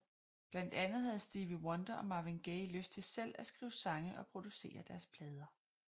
Blandt andet havde Stevie Wonder og Marvin Gaye lyst til selv at skrive sange og producere deres plader